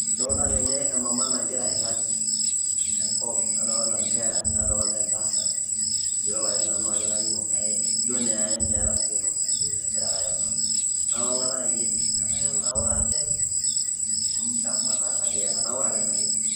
Adolta tene emama nagira airrag tenkop, nadolta nkera ,nadolta entasat, mayiolo ake nanu ajo kanyioo kake, ijo naa meeta si entoki najito egira ake airura. Na ong'ata ninye etii, enaa ketanaurate, amu dama taa kake etanaurate naleng'.